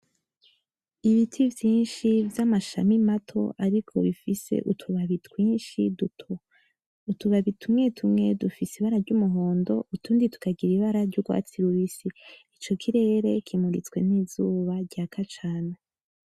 Ibiti vyinshi vy'amashami mato ariko bifise utubabi twinshi duto. Utubabi tumwetumwe dufise ibara ry'umuhondo, utundi tukagira ibara ry'urwatsi rubisi. Ico kirere kimuritswe n'izuba ryaka cana.